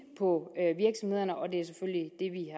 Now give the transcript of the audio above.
på virksomhederne og det vi